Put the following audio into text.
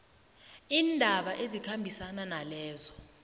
iindaba ezikhambisana nalezo